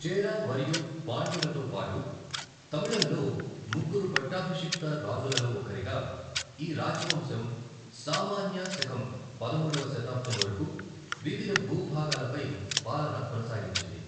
చేర మరియు పాండ్యులతో పాటు తమిళకంలో ముగ్గురు పట్టాభిషిక్త రాజులలో ఒకరిగా, ఈ రాజవంశం సామాన్య శకం పదమూడవ శతాబ్దం వరకు వివిధ భూభాగాలపై పాలన కొనసాగించింది.